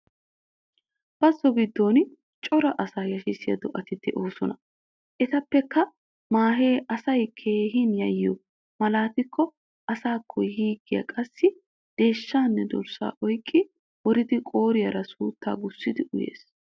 Bazzo giddon cora asaa yashshiya do'ati de'oosona. Etappekka maahee asay keehin yayyiyo malaatikko asaakko yiiggiya qassi deeshshaanne dorssaa oyqqi woridi qooriyaara suuttaa gussidi uyees.